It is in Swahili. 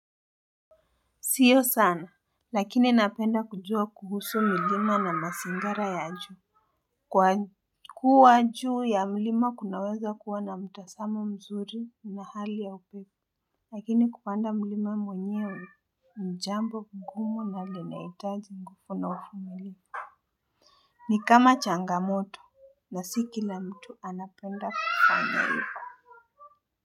Sio sana, lakini napenda kujua kuhusu milima na mazingira ya juu. Kwa kuwa juu ya milima kunaweza kuwa na mtazamo mzuri na hali ya upepo. Lakini kupanda milima mwenyewe ni jambo ngumu na linahitaji nguvu na uvumilivu. Ni kama changamoto na si kila mtu anapenda kufanya hivo.